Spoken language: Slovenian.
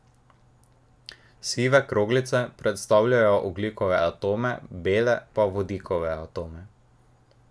Sive kroglice predstavljajo ogljikove atome, bele pa vodikove atome.